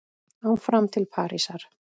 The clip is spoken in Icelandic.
Áfram til Parísar